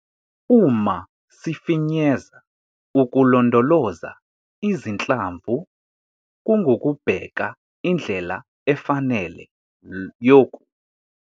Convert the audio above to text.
Uma sifinyeza, ukulondoloza izinhlamvu kungukubheka indlela efanele yoku.